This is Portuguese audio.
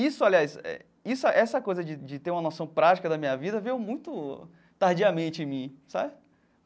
Isso, aliás eh, isso essa coisa de de ter uma noção prática da minha vida veio muito tardiamente em mim, sabe?